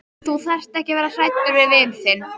Þú þarft ekki að vera hræddur við vin þinn.